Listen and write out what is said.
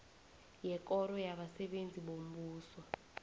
yekoro yabasebenzi bombuso